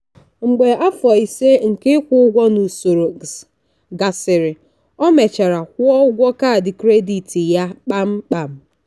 mgbe afọ ise nke ịkwụ ụgwọ n'usoro gasịrị o mechara kwụọ ụgwọ kaadị kredit ya kpamkpam.